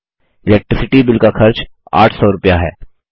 electricity bill का खर्च 800 रुपया है